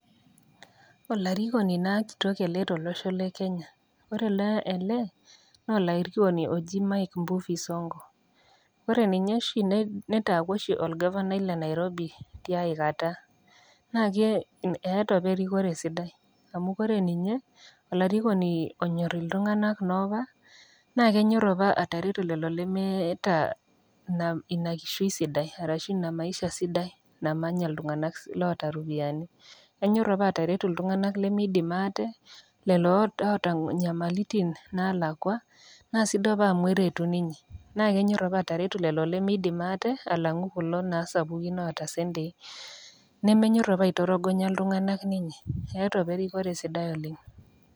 Olarikoni naa kitok ele tolosho le Kenya, ore ele na olarikoni oji mike mbuvi sonko, ore ninye oshi netangasa aku orgavanai le Nairobi tiakata ,na keeta apa erikore sidai amu ore ninye na olarikoni onyor iltunganak na kenyor ninye ltunganak lemeta inakishui sidai arashu inamaisha sidai namanyita loota ropiyiani, enyor apa aterutu iltunganak lemeidimu ate, lolo oota lemeeta na sidai apa amu eretu ninye na kenyor apa ateretu ltnganak lemeidimu ate kuli naa sapukin oota tendei, nemmenyor apa aitorogonya ltunganak keeta apa erikore sidai oleng.